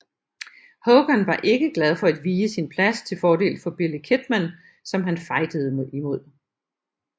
Hogan var ikke glad for at vige sin plads til fordel for Billy Kidman som han fejdede imod